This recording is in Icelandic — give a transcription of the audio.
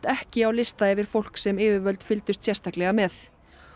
ekki á lista yfir fólk sem yfirvöld fylgdust sérstaklega með